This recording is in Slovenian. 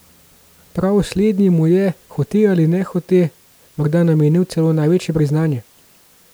Prav slednji mu je, hote ali nehote, morda namenil celo največje priznanje.